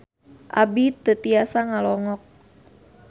Abi teu tiasa ngalongok